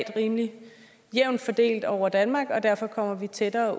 er rimelig jævnt fordelt over danmark og derfor kommer vi tættere